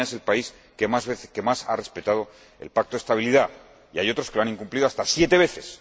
España es el país que más ha respetado el Pacto de Estabilidad y hay otros que lo han incumplido hasta siete veces.